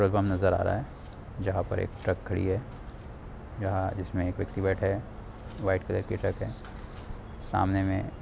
नजर आ रही है जहा पर एक ट्रक खड़ी है यहा जिसमे एक व्यक्ति बेठा है वाइट कलर के की ट्रक है सामने में--